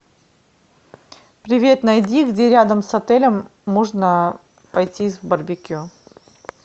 привет найди где рядом с отелем можно пойти с барбекю